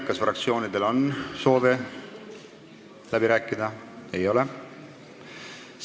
Kas fraktsioonidel on soovi läbi rääkida?